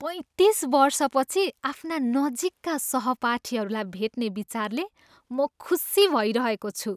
पैँतिस वर्षपछि आफ्ना नजिकका सहपाठीहरूलाई भेट्ने विचारले म खुसी भइरहेको छु।